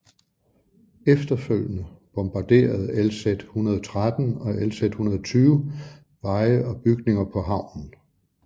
Efterfølgende bombarderede LZ 113 og LZ 120 veje og bygninger på havnen